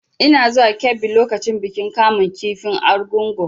Ina zuwa Kebbi lokacin bikin kamun kifin argungu.